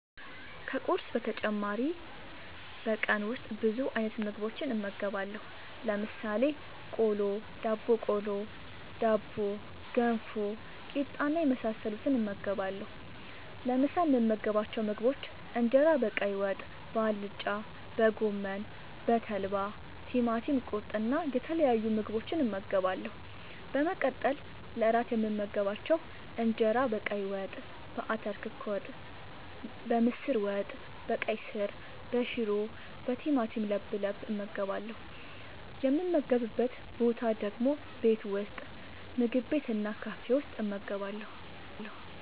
ከቁርስ በተጨማሪ በቀን ውስጥ ብዙ አይነት ምግቦችን እመገባለሁ። ለምሳሌ፦ ቆሎ፣ ዳቦቆሎ፣ ዳቦ፣ ገንፎ፣ ቂጣ እና የመሳሰሉትን እመገባለሁ። ለምሳ የምመገባቸው ምግቦች እንጀራ በቀይ ወጥ፣ በአልጫ፣ በጎመን፣ በተልባ፣ ቲማቲም ቁርጥ እና የተለያዩ ምግቦችን እመገባለሁ። በመቀጠል ለእራት የምመገባቸው እንጀራ በቀይ ወጥ፣ በአተር ክክ ወጥ፣ በምስር ወጥ፣ በቀይ ስር፣ በሽሮ፣ በቲማቲም ለብለብ እመገባለሁ። የምመገብበት ቦታ ደግሞ ቤት ውስጥ፣ ምግብ ቤት እና ካፌ ውስጥ እመገባለሁ።